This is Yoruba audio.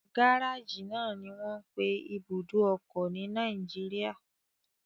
Gárájì náà ni wọ́n ń pe ibùdó ọkọ̀ ní Nàìjíríà.